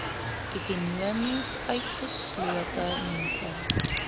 ekonomies utgeslote mense